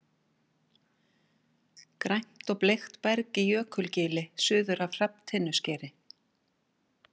Grænt og bleikt berg í Jökulgili suður af Hrafntinnuskeri.